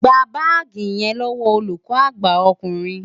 Gba báàgì yẹn lọ́wọ́ olùkọ́ àgbà ọkùnrin!